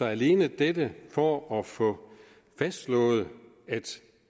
alene dette for at få fastslået at